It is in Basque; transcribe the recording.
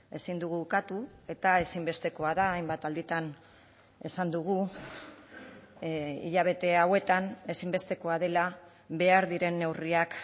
ezin dugu ukatu eta ezinbestekoa da hainbat alditan esan dugu hilabete hauetan ezinbestekoa dela behar diren neurriak